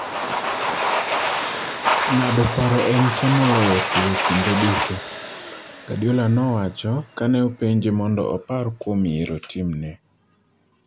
"Ng'ado paro en temo loyo tugo kinde duto", Guardiola nowacho, kane openje mondo opar kuom yiero timne.